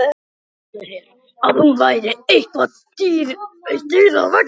Ímyndaði sér að hún væri eitt dýrið á veggnum.